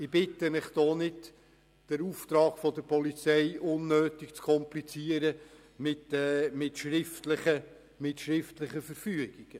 Ich bitte Sie, den Auftrag der Polizei nicht mit schriftlichen Verfügungen unnötig zu komplizieren.